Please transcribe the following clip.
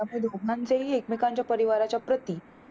त्यामुळे दोघांच्या हि एकमेकांच्या परिवाराच्या प्रति